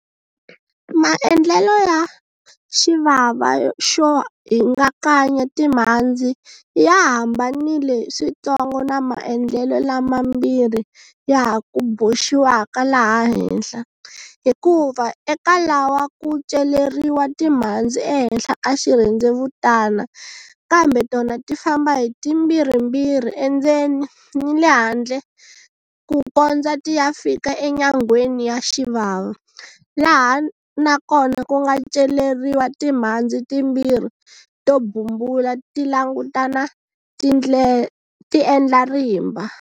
Maendlelo ya xivava xo hingakanya timhandzi ya hambanile swintsongo na maendlelo lama mbirhi ya ha ku boxiwaka laha henhla, hikuva eka lawa ku celeriwa timhandzi ehenhla ka xirhendzevutana kambe tona ti famba hi timbirhimbirhi endzeni ni le handle ku kondza ti ya fika enyangweni ya xivava, laha na kona ku nga celeriwa timhandzi timbirhi to bumbula ti langutana ti endla rimba.